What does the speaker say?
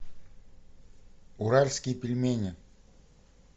уральские пельмени